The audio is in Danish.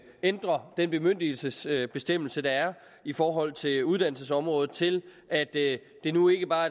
ændrer den bemyndigelsesbestemmelse der er i forhold til uddannelsesområdet til at det det nu ikke bare